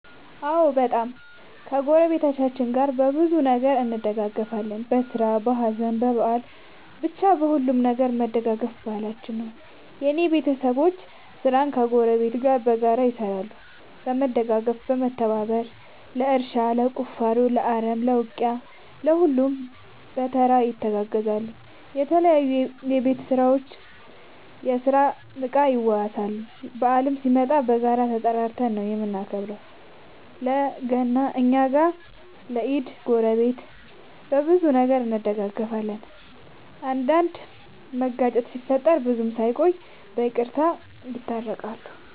አዎ በጣም ከ ጎረቤቶቻችን ጋር በብዙ ነገር እንደጋገፋለን በስራ በሀዘን በበአል በቻ በሁሉም ነገር መደጋገፍ ባህላችን ነው። የእኔ ቤተሰቦቼ ስራን ከ ጎረቤት ጋር በጋራ ይሰራሉ በመደጋገፍ በመተባበር ለእርሻ ለቁፋሮ ለአረም ለ ውቂያ ለሁሉም በየተራ ይተጋገዛሉ የተለያዩ የቤት እና የስራ እቃ ይዋዋሳሉ። በአልም ሲመጣ በጋራ እየተጠራራን ነው የምናከብረው ለ ገና እኛ ጋ ለ ኢድ ጎረቤት። በብዙ ነገር እንደጋገፋለን። አንዳንድ መጋጨት ሲፈጠር ብዙም ሳይቆዩ ይቅርታ ተባብለው የታረቃሉ።